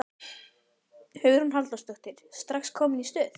Hugrún Halldórsdóttir: Strax komin í stuð?